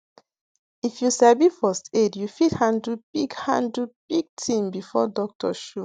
if you sabi first aid you fit handle big handle big tin before doctor show